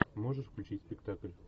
можешь включить спектакль